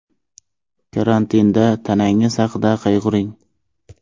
Karantinda tanangiz haqida qayg‘uring.